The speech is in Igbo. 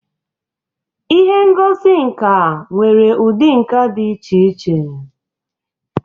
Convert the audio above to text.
Ihe ngosi nka nwere ụdị nka dị iche iche.